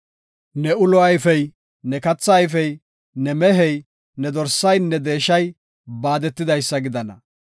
Ne ulo ayfey, ne katha ayfey, ne mehey, ne dorsaynne deeshay baadetidaysa gidana.